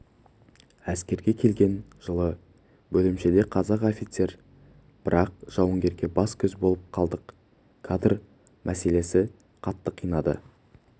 әскерге келген жылы бөлімшеде қазақ офицер бір-ақ жауынгерге бас-көз болып қалдық кадр мәселесі қатты қинады